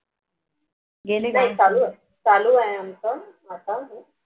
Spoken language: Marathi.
नाही चालू आहे आमचं आता